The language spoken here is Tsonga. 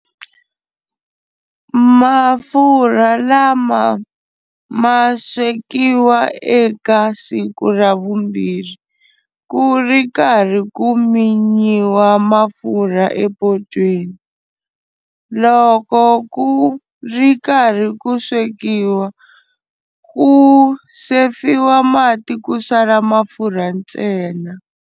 Mafurha lama ma swekiwa eka siku ra vumbirhi, ku ri karhi ku minyiwa mafurha epotweni. Loko ku ri karhi ku swekiwa, ku sefiwa mati ku sala mafurha ntsena.